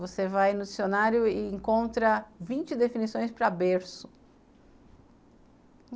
Você vai no dicionário e e encontra vinte definições para berço.